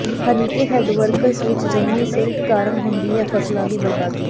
Harike head works ਵਿੱਚ ਜੰਮੀ silt ਕਾਰਨ ਹੁੰਦੀ ਹੈ ਫ਼ਸਲਾਂ ਦੀ ਬਰਬਾਦੀ